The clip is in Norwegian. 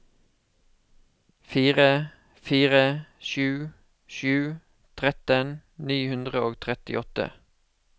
fire fire sju sju tretten ni hundre og trettiåtte